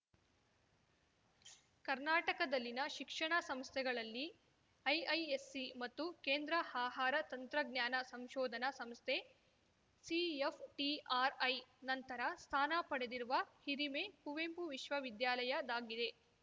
ಕರ್ನಾಟಕದಲ್ಲಿನ ಶಿಕ್ಷಣ ಸಂಸ್ಥೆಗಳಲ್ಲಿ ಐಐಎಸ್‌ಸಿ ಮತ್ತು ಕೇಂದ್ರ ಆಹಾರ ತಂತ್ರಜ್ಞಾನ ಸಂಶೋಧನಾ ಸಂಸ್ಥೆ ಸಿಎಫ್‌ಟಿಆರ್‌ಐ ನಂತರ ಸ್ಥಾನ ಪಡೆದಿರುವ ಹಿರಿಮೆ ಕುವೆಂಪು ವಿಶ್ವವಿದ್ಯಾಲಯದ್ದಾಗಿದೆ